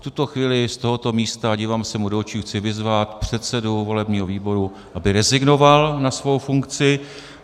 V tuto chvíli z tohoto místa - dívám se mu do očí - chci vyzvat předsedu volebního výboru, aby rezignoval na svou funkci.